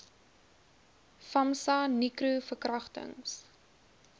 famsa nicro verkragtings